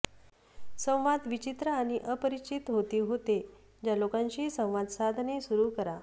संवाद विचित्र आणि अपरिचित होती होते ज्या लोकांशी संवाद साधणे सुरू करा